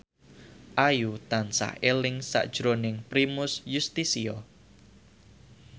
Ayu tansah eling sakjroning Primus Yustisio